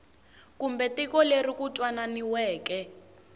kumbe tiko leri ku twanananiweke